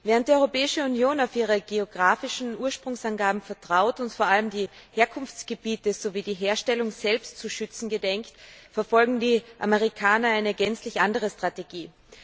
Während die Europäische Union auf ihre geografischen Ursprungsangaben vertraut und vor allem die Herkunftsgebiete sowie die Herstellung selbst zu schützen gedenkt, verfolgen die Amerikaner eine gänzlich andere Strategie.